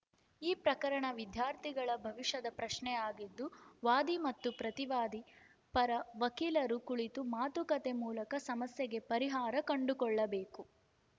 ಈ ಪ್ರಕರಣ ವಿದ್ಯಾರ್ಥಿಗಳ ಭವಿಷ್ಯದ ಪ್ರಶ್ನೆಯಾಗಿದ್ದು ವಾದಿ ಮತ್ತು ಪ್ರತಿವಾದಿ ಪರ ವಕೀಲರು ಕುಳಿತು ಮಾತುಕತೆ ಮೂಲಕ ಸಮಸ್ಯೆಗೆ ಪರಿಹಾರ ಕಂಡುಕೊಳ್ಳಬೇಕು